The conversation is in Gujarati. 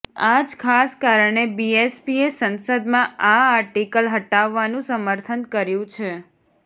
આ જ ખાસ કારણે બીએસપીએ સંસદમાં આ આર્ટિકલ હટાવવાનું સમર્થન કર્યું છે